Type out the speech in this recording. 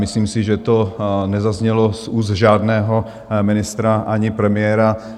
Myslím si, že to nezaznělo z úst žádného ministra ani premiéra.